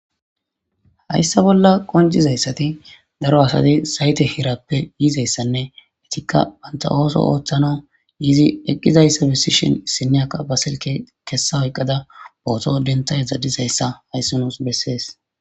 Hayssa bolla qonjizayssati daro asati sayte hirappe yiizayssanne etikka banta ooso ooththana yizi eqqizayssa besishon issinyaka basilke kessa oyqqada booto denta zadizayssa hayssi nuus bessees.